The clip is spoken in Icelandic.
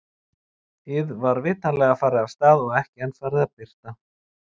ið var vitanlega farið af og ekki enn farið að birta.